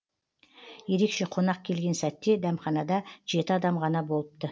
ерекше қонақ келген сәтте дәмханада жеті адам ғана болыпты